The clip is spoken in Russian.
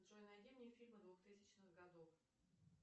джой найди мне фильмы двухтысячных годов